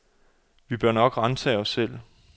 Vi bør nok ransage os selv.